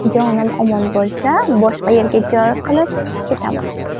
Jonim omon bo‘lsa, boshqa yerga joy qilib ketaman.